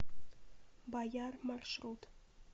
баяр маршрут